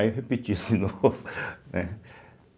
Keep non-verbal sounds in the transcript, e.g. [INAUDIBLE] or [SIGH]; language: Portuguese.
Aí eu repeti de novo [LAUGHS] né.